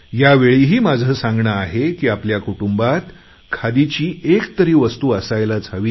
या वेळीही माझे सांगणे आहे की आपल्या कुटुंबात खादीची एक तरी वस्तू असायलाच हवी